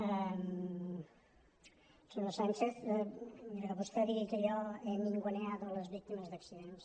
al senyor sánchez miri que vostè digui que jo he ninguneado les víctimes d’accidents